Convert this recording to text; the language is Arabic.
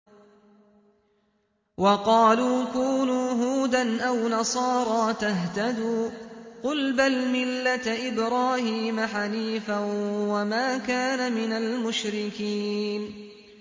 وَقَالُوا كُونُوا هُودًا أَوْ نَصَارَىٰ تَهْتَدُوا ۗ قُلْ بَلْ مِلَّةَ إِبْرَاهِيمَ حَنِيفًا ۖ وَمَا كَانَ مِنَ الْمُشْرِكِينَ